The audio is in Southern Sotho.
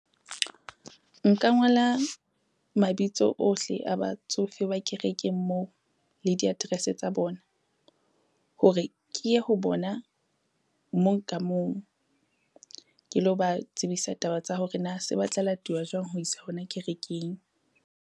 Nka ngola mabitso ohle a batsofe ba kerekeng moo le di-address tsa bona, hore ke ye ho bona mong ka mong ke lo ba tsebisa taba tsa hore na se batla latuwa jwang ho iswa hona kerekeng.